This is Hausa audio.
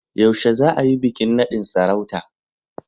Yaushe za a yi bikin nadin sarauta?